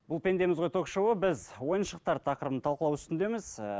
бұл пендеміз ғой ток шоуы біз ойыншықтар тақырыбын талқылау үстіндеміз ііі